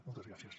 moltes gràcies